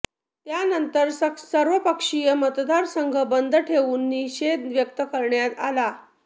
त्यानंतर सर्वपक्षीय मतदारसंघ बंद ठेवून निषेध व्यक्त करण्यात आला